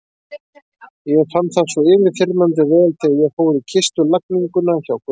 Ég fann það svo yfirþyrmandi vel þegar ég fór í kistulagninguna hjá Gunna.